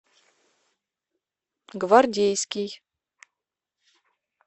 гвардейский